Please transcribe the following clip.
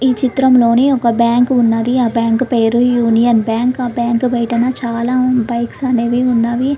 ఈ చిత్రంలోని ఒక బ్యాంకు ఉన్నది ఆ బ్యాంకు పేరు యూనియన్ బ్యాంక్ ఆ బ్యాంకు బయట చాలా బైక్స్ అనేవి ఉన్నవి.